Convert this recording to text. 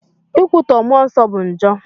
Ikwutọ Mụọ Nsọ bụ njọ.